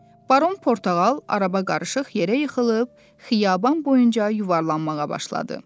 Baron Portağal araba qarışıq yerə yıxılıb xiyaban boyunca yuvarlanmağa başladı.